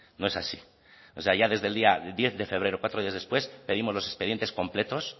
no es así o sea ya desde el día diez febrero cuatro días después pedimos los expedientes completos